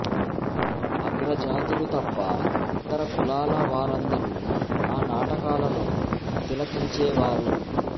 ఆగ్రజాతులు తప్ప ఇతర కులాల వారందరూ ఆ నాటకాలను తిలకించేవారు